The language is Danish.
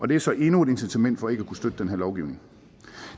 det er så endnu et incitament for ikke at kunne støtte den her lovgivning